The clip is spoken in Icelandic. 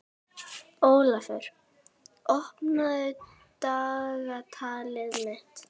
Ólafur, opnaðu dagatalið mitt.